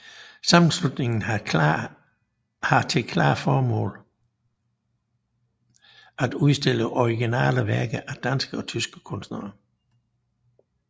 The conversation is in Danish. Sammenslutningen har til formål at udstille originale værker af danske og tyske kunstnere